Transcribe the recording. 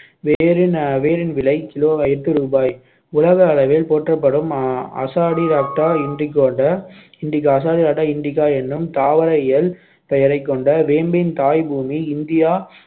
வேரின் அஹ் வேரின் விலை kilo எட்டு ரூபாய் உலக அளவில் போற்றப்படும் azadirachta indica என்ற azadirachta indica எனும் தாவர இயல் பெயரைக் கொண்ட வேம்பின் தாய்பூமி இந்தியா